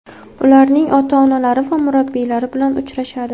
ularning ota-onalari va murabbiylari bilan uchrashadi.